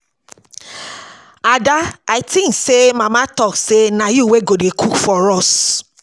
Ada I think say mama talk say na you wey go dey cook for us